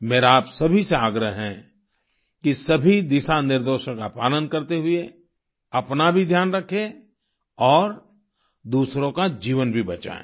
मेरा आप सभी से आग्रह है कि सभी दिशानिर्देशों का पालन करते हुए अपना भी ध्यान रखें और दूसरों का जीवन भी बचाएं